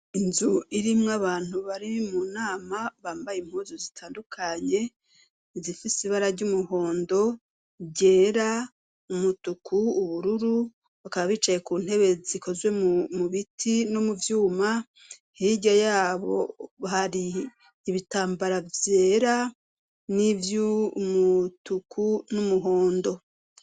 inzu irimwo abantu bari mu nama bambaye impuzu zitandukanye izifise ibara ry'umuhondo ryera umutuku ubururu bakaba bicaye ku ntebe zikozwe mu biti no mu vyuma hirya yabo hari ibitambara vyera nivy'umutuku n'umuhondo